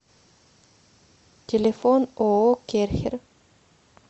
телефон ооо керхер